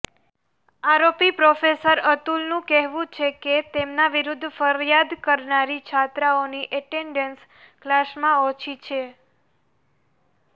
આરોપી પ્રોફેસર અતુલનું કહેવું છે કે તેમના વિરૂદ્ધ ફરિયાદ કરનારી છાત્રાઓની અટેન્ડસ કલાસમાં ઓછી છે